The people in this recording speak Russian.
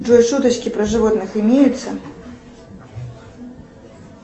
джой шуточки про животных имеются